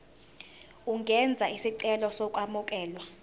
ungenza isicelo sokwamukelwa